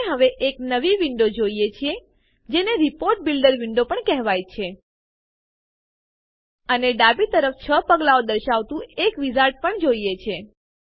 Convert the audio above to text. આપણે હવે એક નવી વિન્ડો જોઈએ છીએ જેને રિપોર્ટ બિલ્ડર વિન્ડો પણ કહેવાય છે અને ડાબી તરફ ૬ પગલાંઓ દર્શાવતું એક વિઝાર્ડ પણ જોઈએ છીએ